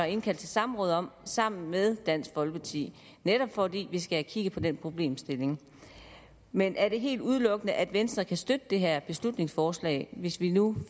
indkaldt til samråd om sammen med dansk folkeparti netop fordi vi skal have kigget på den problemstilling men er det helt udelukket at venstre kan støtte det her beslutningsforslag hvis vi nu